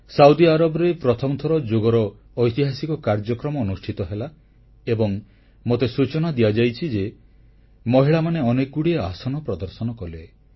Saudi ଆରବରେ ପ୍ରଥମ ଥର ଯୋଗର ଐତିହାସିକ କାର୍ଯ୍ୟକ୍ରମ ଅନୁଷ୍ଠିତ ହେଲା ଏବଂ ମୋତେ ସୂଚନା ଦିଆଯାଇଛି ଯେ ମହିଳାମାନେ ଅନେକଗୁଡ଼ିଏ ଆସନ ପ୍ରଦର୍ଶନ କଲେ